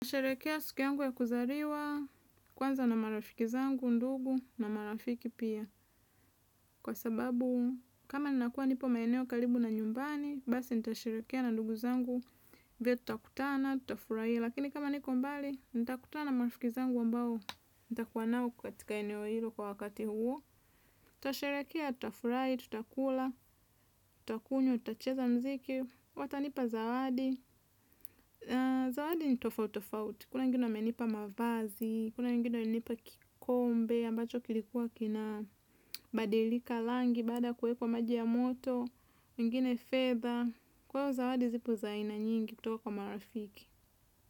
Sherekea suku yangu ya kuzaliwa, kwanza na marafiki zangu, ndugu, na marafiki pia. Kwa sababu kama ninakuwa nipo maeneo karibu na nyumbani basi nitasherekea na ndugu zangu vile tutakutana. Lakini kama niko mbali, nitakutana marafiki zangu ambao, nitakuwa nao katika eneo hilo kwa wakati huo. Tasherekea, tutafurai, tutakula, tutakunywa, tutacheza mziki, watanipa zawadi. Zawadi nitofauti tofauti kuna wengine wamenipa mavazi kuna wengine wamenipa kikombe ambacho kilikuwa kina badilika langi baada kuekwa kwa maji ya moto wengine fedha kwao zawadi zipo zaina nyingi kutoka kwa marafiki.